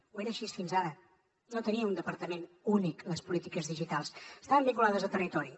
ho era així fins ara no tenien un departament únic les polítiques digitals estaven vinculades a territori